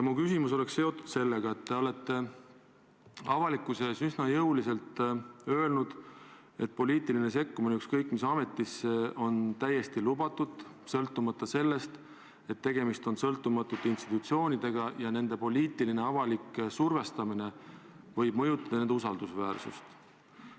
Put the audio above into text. Mu küsimus on aga seotud sellega, et te olete avalikkuse ees üsna jõuliselt öelnud, et poliitiline sekkumine ükskõik mis ametisse on täiesti lubatud – sõltumata sellest, kas on tegemist sõltumatute institutsioonidega – ja poliitiline avalik survestamine võib mõjutada usaldusväärsust.